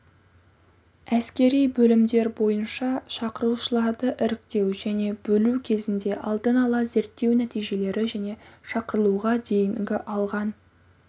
әскери бөлімдер бойынша шақырылушыларды іріктеу және бөлу кезінде алдын ала зерттеу нәтижелері және шақырылуға дейінгі алған